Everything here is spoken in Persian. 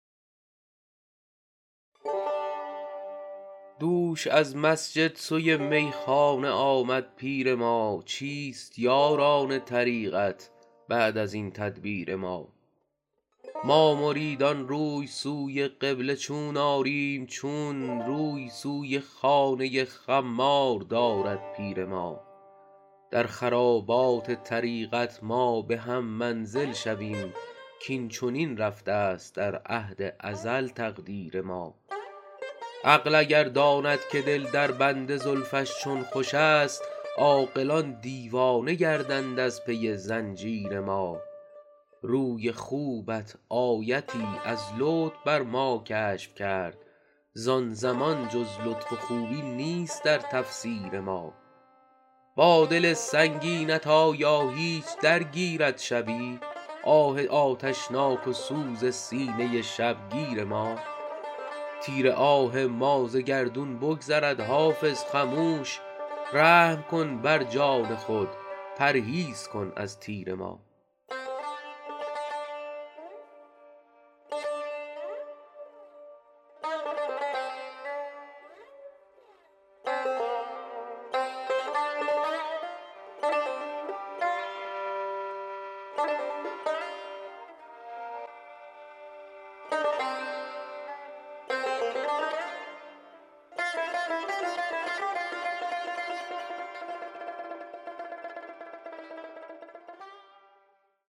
دوش از مسجد سوی میخانه آمد پیر ما چیست یاران طریقت بعد از این تدبیر ما ما مریدان روی سوی قبله چون آریم چون روی سوی خانه خمار دارد پیر ما در خرابات طریقت ما به هم منزل شویم کاین چنین رفته است در عهد ازل تقدیر ما عقل اگر داند که دل در بند زلفش چون خوش است عاقلان دیوانه گردند از پی زنجیر ما روی خوبت آیتی از لطف بر ما کشف کرد زان زمان جز لطف و خوبی نیست در تفسیر ما با دل سنگینت آیا هیچ درگیرد شبی آه آتشناک و سوز سینه شبگیر ما تیر آه ما ز گردون بگذرد حافظ خموش رحم کن بر جان خود پرهیز کن از تیر ما